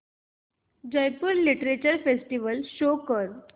Jaipur literature festival show कर